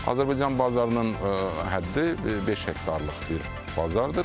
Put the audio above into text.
Azərbaycan bazarının həddi beş hektarlıq bir bazardır.